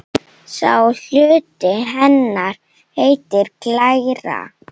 Sá hluti hennar heitir glæra.